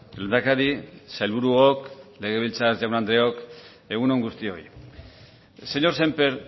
lehendakari sailburuok legebiltzar jaun andreok egun on guztioi señor sémper